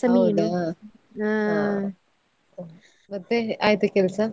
ಹೌದಾ! ಮತ್ತೆ ಆಯ್ತಾ ಕೆಲ್ಸ?